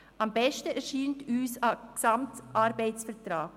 Am besten erscheint uns ein Gesamtarbeitsvertrag.